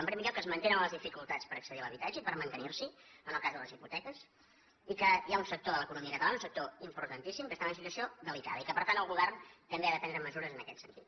en primer lloc es mantenen les dificultats per accedir a l’habitatge i per mantenir s’hi en el cas de les hipoteques i que hi ha un sector de l’economia catalana un sector importantíssim que està en una situació delicada i que per tant el govern també ha de prendre mesures en aquest sentit